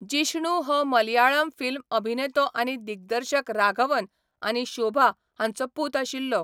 जिष्णू हो मलयाळम फिल्म अभिनेतो आनी दिग्दर्शक राघवन आनी शोभा हांचो पूत आशिल्लो.